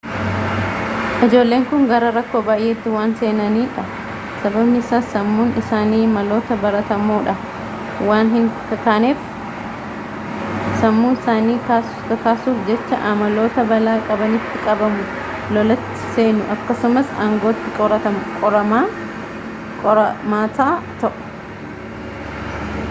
ijoolleen kun gara rakkoo baay'eetti waan seenanidha sababni isaas sammuun isaanii maloota baratamoodhaan waan hinkakaaneef sammuu isaanii kakaasuuf jecha amaloota balaa qabanitti qabamu lolatti seenu akkasumas aangootti qoramaata ta'u